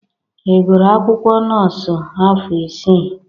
Ị gụrụ akwụkwọ nọọsụ afọ isii?